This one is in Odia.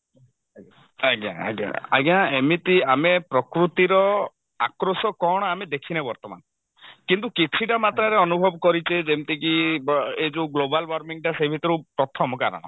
ଆଜ୍ଞା ଆଜ୍ଞା ଆଜ୍ଞା ଆଜ୍ଞା ଏମିତି ଆମେ ପ୍ରକୃତିର ଆକ୍ରୋଶ କଣ ଆମେ ଦେଖିନେ ବର୍ତମାନ କିନ୍ତୁ କିଛିଟା ମାତ୍ରାରେ ଅନୁଭଵ କରିଛେ ଯେମତି କି ବ ଏ ଯଉ global warming ଟା ସେଇ ଭିତରୁ ପ୍ରଥମ କାରଣ